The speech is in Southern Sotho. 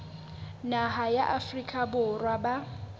naha ya afrika borwa ba